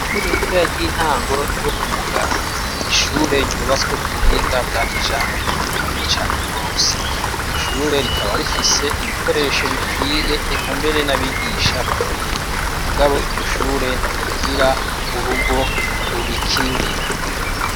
Ishure ritoya ry'intango ryo kumugara ni ishure ryubatswe ku buhinga bwa kijambere bukomeye cane gose iryo shure rikaba rifise ibikoresho bikwiye eka mbere n'abigisha bakwiye mugabo iryo shure ntirigira urugo rurikingira.